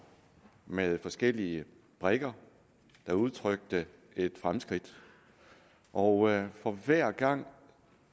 med forskellige brikker der udtrykte et fremskridt og for hver gang